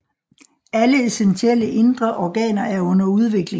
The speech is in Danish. Alle essentielle indre organer er under udvikling